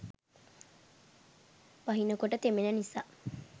වහිනකොට තෙමෙන නිසා